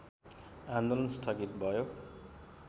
आन्दोलन स्थगित भयो